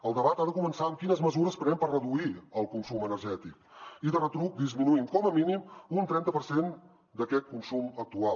el debat ha de començar amb quines mesures prenem per reduir el consum energètic i de retruc disminuint com a mínim un trenta per cent d’aquest consum actual